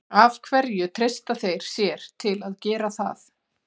Af hverju treysta þeir sér til að gera það?